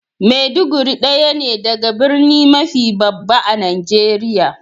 Maiduguri daya ne daga birni mafi babba a'Nijeriya.